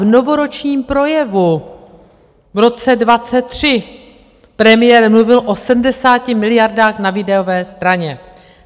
V novoročním projevu v roce 2023 premiér mluvil o 70 miliardách na výdajové straně.